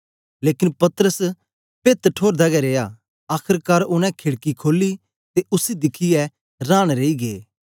लेकन पतरस पेहत ठोरदा गै रिया आखरकार उनै खेड़की खोली ते उसी दिखियै रांन रेई गै